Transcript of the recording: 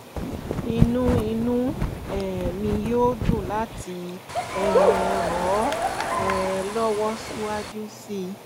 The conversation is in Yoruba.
inú inú um mi yóò dùn láti um ràn ọ́ um lọ́wọ́ síwájú sí i